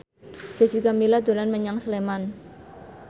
Jessica Milla dolan menyang Sleman